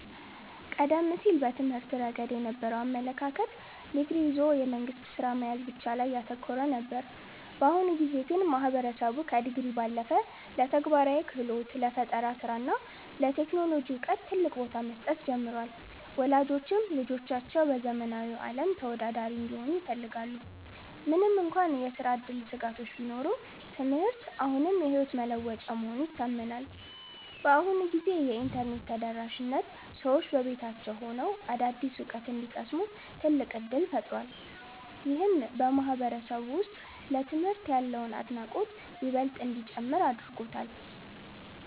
ቀደም ሲል በትምህርት ረገድ የነበረው አመለካከት ዲግሪ ይዞ የመንግሥት ሥራ መያዝ ላይ ብቻ ያተኮረ ነበር። በአሁኑ ጊዜ ግን ማህበረሰቡ ከዲግሪ ባለፈ ለተግባራዊ ክህሎት፣ ለፈጠራ ሥራ እና ለቴክኖሎጂ ዕውቀት ትልቅ ቦታ መስጠት ጀምሯል። ወላጆችም ልጆቻቸው በዘመናዊው ዓለም ተወዳዳሪ እንዲሆኑ ይፈልጋሉ። ምንም እንኳን የሥራ ዕድል ስጋቶች ቢኖሩም፣ ትምህርት አሁንም የሕይወት መለወጫ መሆኑ ይታመናል። በአሁኑ ጊዜ የኢንተርኔት ተደራሽነት ሰዎች በቤታቸው ሆነው አዳዲስ ዕውቀት እንዲቀስሙ ትልቅ ዕድል ፈጥሯል። ይህም በማህበረሰቡ ውስጥ ለትምህርት ያለውን አድናቆት ይበልጥ እንዲጨምር አድርጎታል።